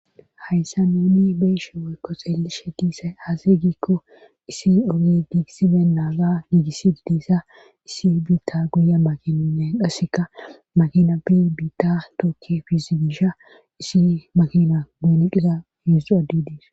Hayssa nuuni beeshe woyko xeelishe diisay aasiy giikko isi oge giigissiben naaga giigissi didissa issi biitta guye makininnen qasseka makina bi biitta tookki fizimisha isi makina buoneqiza hueszdu addidiis.